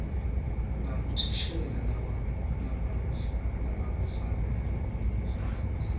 labothishela labakufanele kufundzisa